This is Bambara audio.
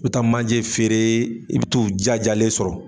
I bɛ taa manje feere i bɛ t'u jajalen sɔrɔ.